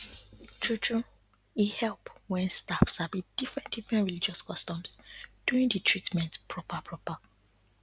truetrue e help wen staff sabi different diffrent religious customs during di treatment proper proper